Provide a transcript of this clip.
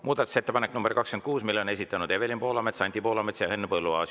Muudatusettepaneku nr 26 on esitanud Evelin Poolamets, Anti Poolamets ja Henn Põlluaas.